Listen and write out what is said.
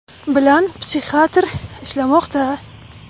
bilan psixiatr ishlamoqda.